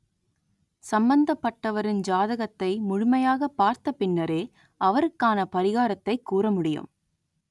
சம்பந்தப்பட்டவரின் ஜாதகத்தை முழுமையாகப் பார்த்த பின்னரே அவருக்கான பரிகாரத்தைக் கூற முடியும்